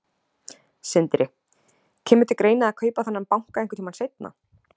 Sindri: Kemur til greina að kaupa þennan banka einhvern tímann seinna?